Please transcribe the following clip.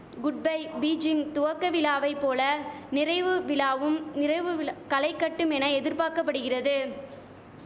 goodbye Beijing துவக்க விழாவை போல நிறைவு விழாவும் நிறைவு விழ களை கட்டும் என எதிர்பாக்கபடுகிறது